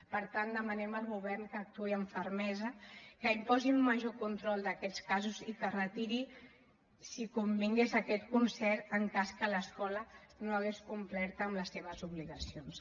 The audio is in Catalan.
per tant demanem al govern que actuï amb fermesa que imposi un major control d’aquests casos i que retiri si convingués aquest concert en cas que l’escola no hagués complert amb les seves obligacions